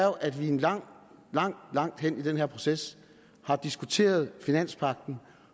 at vi langt langt langt hen i den her proces har diskuteret finanspagten